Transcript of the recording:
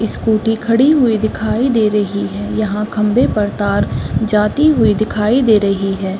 Scooty खड़ी हुई दिखाई दे रही है। यहां खंबे पर तार जाती हुई दिखाई दे रही है।